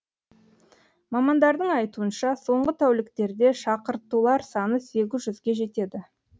мамандардың айтуынша соңғы тәуліктерде шақыртулар саны сегіз жүзге жетеді